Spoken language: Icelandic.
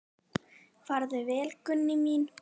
Farðu vel, Gunný mín.